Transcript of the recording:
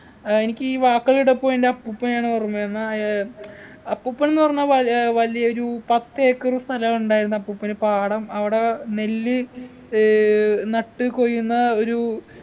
ഏർ എനിക്ക് ഈ വാക്കുകൾ കേട്ടപ്പോ എൻ്റെ അപ്പൂപ്പനെയാണ് ഓർമ്മ വരുന്നെ ആഹ് ഏർ അപ്പൂപ്പൻ ന്ന് പറഞ്ഞ വൽ ഏർ വലിയ ഒരു പത്തേക്കർ സ്ഥലം ഉണ്ടായിരുന്നു അപ്പൂപ്പന്‌ പാടം അവിടെ നെല്ല് ഏർ നട്ട് കൊയ്യുന്ന ഒരു